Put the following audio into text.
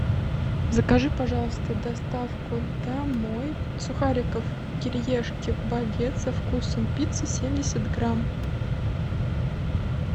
закажи пожалуйста доставку домой сухариков кириешки багет со вкусом пиццы семьдесят грамм